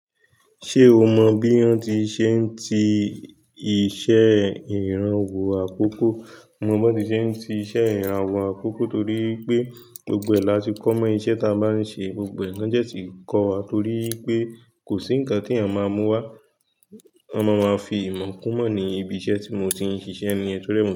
Ṣé o mọ bí wọ́n ti ń ṣe t'iṣẹ́ ìrànwọ́ àkókò? Mo mọ bí wọ́n ti ń ṣe ti iṣẹ́ ìrànwọ́ àkókò torí pé gbogbo ẹ̀ lá ti kọ́ mọ́ iṣẹ́ ta ma ń ṣe, gbogbo ẹ̀ na dẹ́ ti kọ́ wa torí pé kò sí ǹkan tí a máa mú wá. A máa máa fi ìmọ̀ kún mọ́ ní ibi iṣẹ́ tí mo ti ń ṣiṣẹ́ ni to ri e.